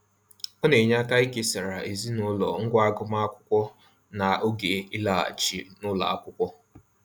Ọ na-enye aka ikesara ezinaụlọ ngwá agụmaakwụkwọ n'oge ịlaghachi n'ụlọ akwụkwọ.